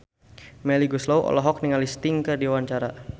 Melly Goeslaw olohok ningali Sting keur diwawancara